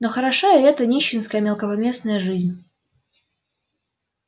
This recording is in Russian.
но хороша и эта нищенская мелкопоместная жизнь